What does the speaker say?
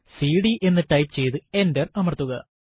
CD എന്ന് type ചെയ്തു enter അമർത്തുക